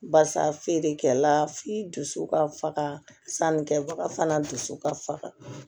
Barisa feerekɛla f'i dusu ka faga sannikɛbaga fana dusu ka faga